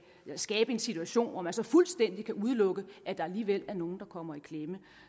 skabe en situation hvor man så fuldstændig kan udelukke at der alligevel er nogen der kommer i klemme